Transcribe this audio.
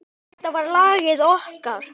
Þetta var lagið okkar.